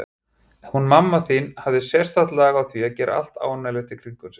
Hún mamma þín hafði sérstakt lag á því að gera allt ánægjulegt í kringum sig.